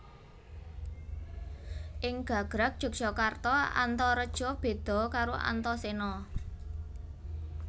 Ing gagrag Jogjakarta Antareja béda karo Antasena